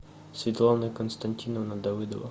светлана константиновна давыдова